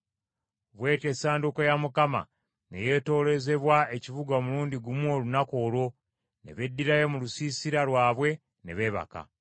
Bw’etyo Essanduuko ya Mukama ne yeetooloozebwa ekibuga omulundi gumu olunaku olwo, ne beddirayo mu lusiisira lwabwe ne beebaka.